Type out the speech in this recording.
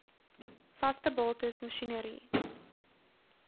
vaste bates masjinerie